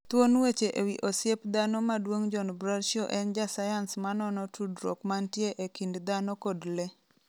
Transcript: Thuon weche ewi osiep dhano maduong' John Bradshaw en jasayans ma nono tudruok mantie e kind dhano kod le.